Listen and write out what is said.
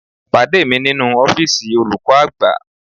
Pàdé mi nínú ọ́fíìsì olùkọ́ àgbà